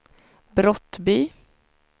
Brottby